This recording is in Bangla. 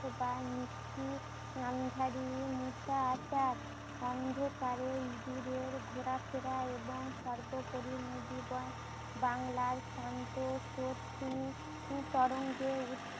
যা নিশ্চিত আন্ধারির অন্ধকারে দুধের ঘোরাফেরা এবং সর্বোপরি বাংলার শান্ত তরঙ্গে উ